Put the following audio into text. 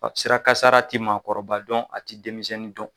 Ɔ sira kasara ti maakɔrɔba dɔn a tɛ denmisɛnnin dɔn.